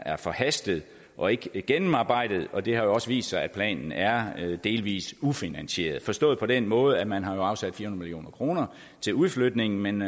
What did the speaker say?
er forhastet og ikke gennemarbejdet og det har jo også vist sig at planen er delvis ufinansieret forstås på den måde at man har afsat fire hundrede million kroner til udflytningen men